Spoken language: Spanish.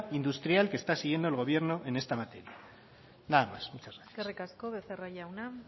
industrial que está siguiendo el gobierno en esta materia nada más muchas gracias eskerrik asko becerra jauna